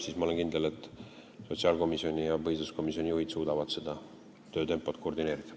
Ma olen kindel, et sotsiaalkomisjoni ja põhiseaduskomisjoni juhid suudavad oma töötempot koordineerida.